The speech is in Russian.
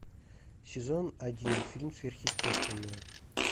сезон один фильм сверхъестественная